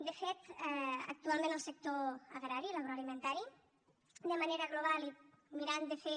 de fet actualment el sector agrari l’agroalimentari de manera global i mirant de fer